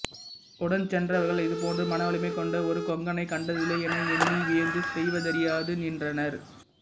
உடன் சென்றவர்கள் இதுபோன்று மனவலிமை கொண்ட ஒரு கொங்கனை கண்டதில்லை என எண்ணி வியந்து செய்வதறியாது நின்றனர்